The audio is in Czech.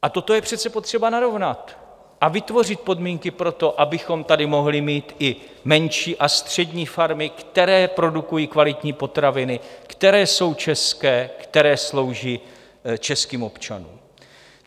A toto je přece potřeba narovnat a vytvořit podmínky pro to, abychom tady mohli mít i menší a střední farmy, které produkují kvalitní potraviny, které jsou české, které slouží českým občanům.